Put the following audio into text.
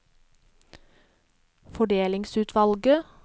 fordelingsutvalget